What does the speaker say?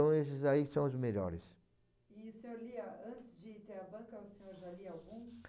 Então, esse aí são os melhores. E o senhor lia, antes de ter a banca, o senhor já lia algum?